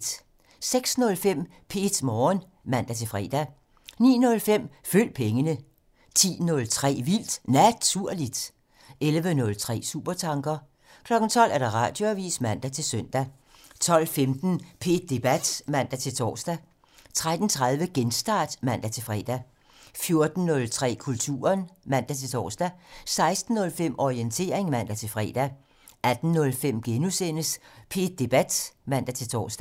06:05: P1 Morgen (man-fre) 09:05: Følg pengene (man) 10:03: Vildt Naturligt (man) 11:03: Supertanker (man) 12:00: Radioavisen (man-søn) 12:15: P1 Debat (man-tor) 13:30: Genstart (man-fre) 14:03: Kulturen (man-tor) 16:05: Orientering (man-fre) 18:05: P1 Debat *(man-tor)